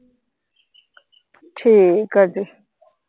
ਠੀਕ ਆ ਜੀ।